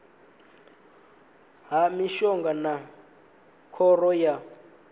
ha mishonga na khoro ya